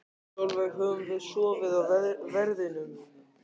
Sólveig: Höfum við sofið á verðinum?